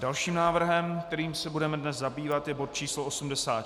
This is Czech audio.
Dalším návrhem, kterým se budeme dnes zabývat, je bod číslo